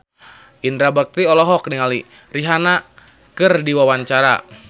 Indra Bekti olohok ningali Rihanna keur diwawancara